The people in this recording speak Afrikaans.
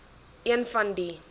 een van die